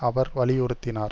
அவர் வலியுறுத்தினார்